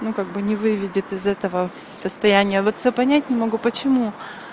ну как бы не выведет из этого состояния вот всё понять не могу почему